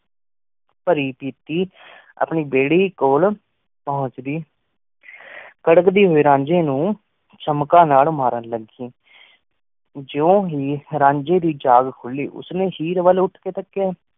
ਪਾਰੀ ਪੀਤੀ ਆਪਣੀ ਬਾਰੀ ਕੋਲ ਪੁੰਛ ਗਈ ਕਾਰਕ ਦੀ ਹੁਈ ਰੰਗੀ ਨੂ ਚਮਕਾ ਨਾਲ ਮਾਰਨ ਲਗਹਿ ਜੋ ਹੀ ਰੰਜੀ ਦੀ ਜਗਹ ਖੁਲੀ ਉਸ੍ਨੀ ਹੇਅਰ ਵਾਲ ਉਠ ਕੀ ਤ੍ਕ੍ਯ